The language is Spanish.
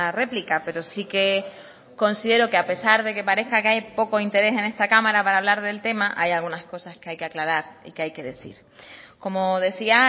réplica pero sí que considero que a pesar de que parezca que hay poco interés en esta cámara para hablar del tema hay algunas cosas que hay que aclarar y que hay que decir como decía